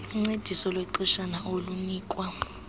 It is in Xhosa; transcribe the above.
luncediso lwexeshana olunikwa